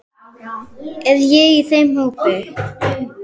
Er ég í þeim hópi.